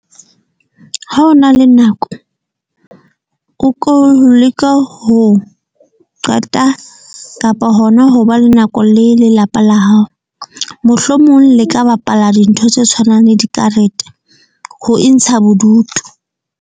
Ha o na le nako, o ko leka ho qeta kapa hona ho ba le nako le lelapa la hao. Mohlomong le ka bapala dintho tse tshwanang le dikarete ho intsha bodutu.